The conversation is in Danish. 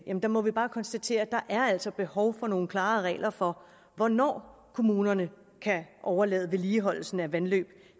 må vi bare konstatere at der altså er behov for nogle klare regler for hvornår kommunerne kan overlade vedligeholdelsen af vandløb